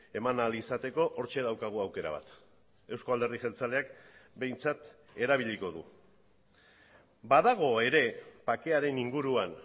eman ahal izateko hortxe daukagu aukera bat eusko alderdi jeltzaleak behintzat erabiliko du badago ere bakearen inguruan